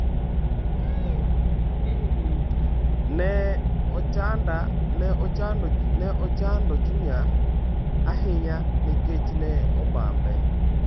Ne ochanda chunya ahinya nikech ne obambe.